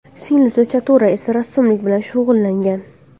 Singlisi Chatura esa rassomlik bilan shug‘ullangan.